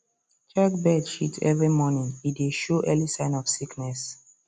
check bird shit every morning e dey show early sign of sickness